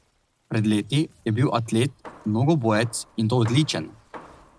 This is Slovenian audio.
Pred leti je bil atlet, mnogobojec, in to odličen.